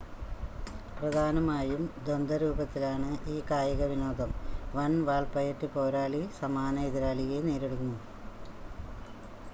പ്രധാനമായും ദ്വന്ദ രൂപത്തിലാണ് ഈ കായികവിനോദം, one വാൾപയറ്റ് പോരാളി സമാന എതിരാളിയെ നേരിടുന്നു